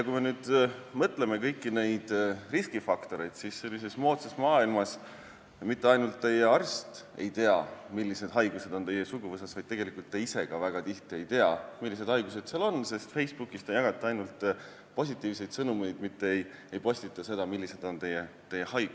Kui me mõtleme kõigile neile riskifaktoritele, siis moodsas maailmas on nii, et mitte ainult teie arst ei ole teadmatuses, mis haigused teie suguvõsas on, vaid tegelikult ka teie ise väga tihti ei tea seda, sest Facebookis te jagate ainult positiivseid sõnumeid, mitte ei postita seda, millised tõved teil on.